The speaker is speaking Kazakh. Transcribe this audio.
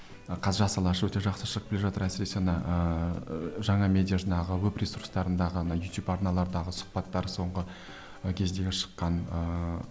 қазір жас алаш өте жақсы шығып келе жатыр әсіресе ана ыыы жаңа медиа жинағы веб ресурстарындағы ана ютуб арналардағы сұхбаттары соңғы ы кездегі шыққан ыыы